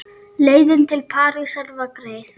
Leiðin til Parísar var greið.